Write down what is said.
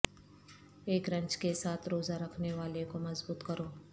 ایک رنچ کے ساتھ روزہ رکھنے والے کو مضبوط کرو